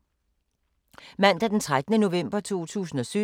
Mandag d. 13. november 2017